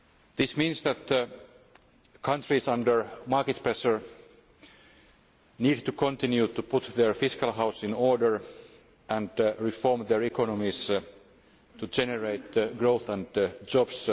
This means that countries under market pressure need to continue to put their fiscal house in order and reform their economies to generate growth and jobs.